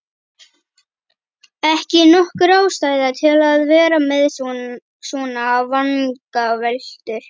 Ekki nokkur ástæða til að vera með svona vangaveltur.